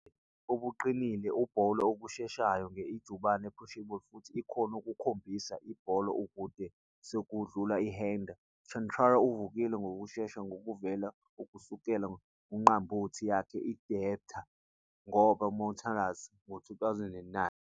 Obuqinile Bowler okusheshayo nge ijubane appreciable futhi ikhono ukuhambisa ibhola kude kwesokudla hander, Chatara uvukile ngokushesha nokuvelela kusukela unqambothi yakhe i-debtor ngoba Mountaineers ngo-2009.